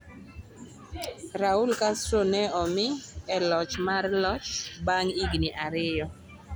Raul Castro ne omi e loch mar loch bang' higni ariyo.